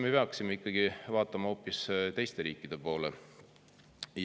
Me peaksime ikkagi vaatama hoopis teiste riikide poole.